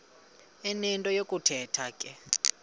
enento yokuthetha ke